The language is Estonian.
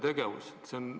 Tegevust ei järgne.